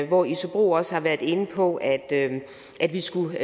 hvor isobro også har været inde på at vi skulle